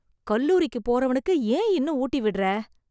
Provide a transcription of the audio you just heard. கல்லூரிக்கு போறவனுக்கு ஏன் இன்னும் ஊட்டிவிடுற...